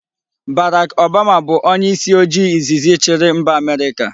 Barack Obama bu onye isi ojii izizi chiri mba America